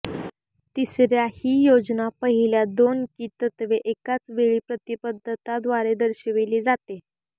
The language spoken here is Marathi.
तिसऱ्या ही योजना पहिल्या दोन की तत्त्वे एकाचवेळी प्रतिबद्धता द्वारे दर्शविले जाते